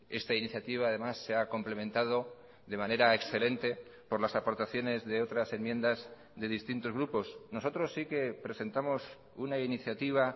esta iniciativa además se ha complementado de manera excelente por las aportaciones de otras enmiendas de distintos grupos nosotros sí que presentamos una iniciativa